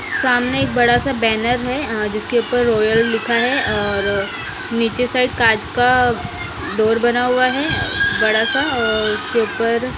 सामने एक बड़ा सा बैनर है आ जिसके ऊपर रॉयल लिखा है और नीचे साइड कांच का डोर बना हुआ है बड़ा सा और उसके ऊपर--